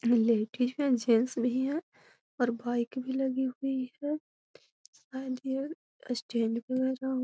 ladies भी हेय gents भी हेय और बाइक भी लगी हुई है शायद ये स्टैंड पे लगा हुआ --